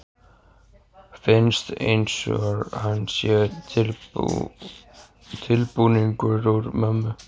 Finnst einsog hann sé tilbúningur úr mömmu.